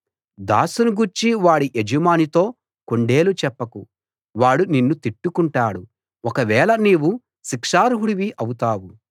దాసుని గూర్చి వాడి యజమానితో కొండేలు చెప్పకు వాడు నిన్ను తిట్టుకుంటాడు ఒకవేళ నీవు శిక్షార్హుడి వౌతావు